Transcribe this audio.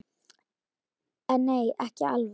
En nei, ekki alveg.